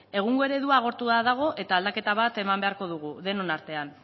egungo eredua agortuta dago eta aldaketa bat eman beharko dugu denon artean